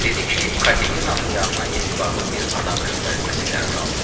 Dedi ki, Katenanın yanına etibarlı bir adam göndərilməsi qərarı alınıb.